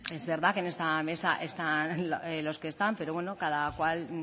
es verdad que en esta mesa están los que están pero bueno cada cual